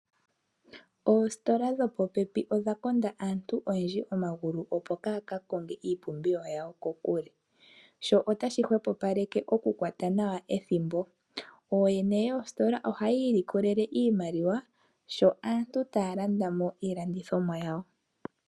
Oositola dhopopepi odhakonda aantu oyendji omagulu opo kaaya kakonge iipumbiwa yawo kokule. Sho otashi hwepopaleke okukwata nawa ethimbo. Ooyene yoositola ohaya ilikolele iimaliwa sho aantu taya landa mo iilandithomwa yawo.